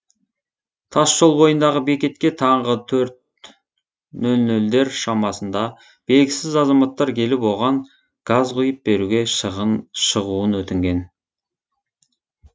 тасжол бойындағы бекетке таңғы төрт нөл нөлдер шамасында белгісіз азаматтар келіп оған газ құйып беруге шығуын өтінген